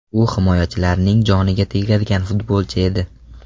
U himoyachilarning joniga tegadigan futbolchi edi.